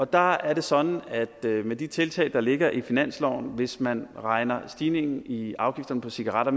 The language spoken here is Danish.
der er det sådan at der med de tiltag der ligger i finansloven hvis man regner stigningen i afgifterne på cigaretter